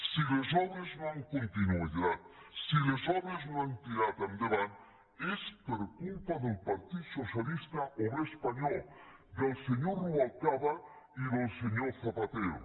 si les obres no han continuat si les obres no han tirat endavant és per culpa del partit socialista obrer espanyol del senyor rubalcaba i del senyor zapatero